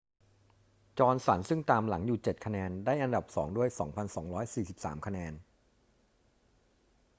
จอห์นสันซึ่งตามหลังอยู่ 7 คะแนน ได้อันดับสองด้วย 2,243 คะแนน